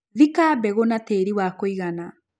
Thika mbegũ na tĩri wa kũigana.